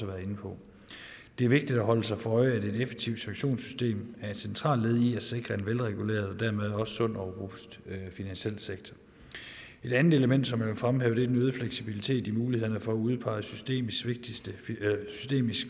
været inde på det er vigtigt at holde sig for øje at et effektivt sanktionssystem er et centralt led i at sikre en velreguleret og dermed også sund og robust finansiel sektor et andet element som jeg vil fremhæve er den øgede fleksibilitet i mulighederne for at udpege systemisk